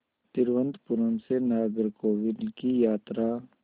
तिरुवनंतपुरम से नागरकोविल की यात्रा